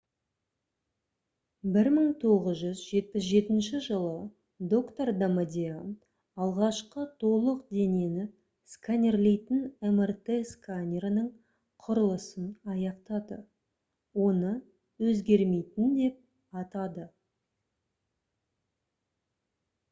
1977 жылы доктор дамадиан алғашқы толық денені сканерлейтін мрт сканерінің құрылысын аяқтады оны «өзгермейтін» деп атады